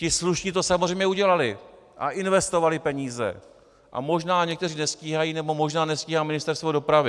Ti slušní to samozřejmě udělali a investovali peníze a možná někteří nestíhají nebo možná nestíhá Ministerstvo dopravy.